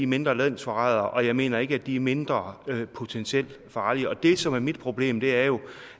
mindre landsforrædere og at jeg mener ikke at de er mindre potentielt farlige det som er mit problem er jo